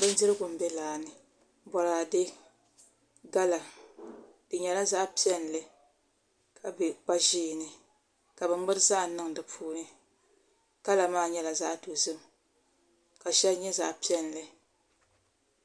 Bindirigu n bɛ laa ni boraadɛ gala di nyɛla zaɣ piɛlli ka bɛ kpa ʒiɛ ni ka bi ŋmuri zaham niŋ di puuni kala maa nyɛla zaɣ dozim ka shɛli nyɛ zaɣ piɛlli